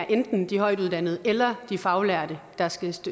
er enten de højtuddannede eller de faglærte der skal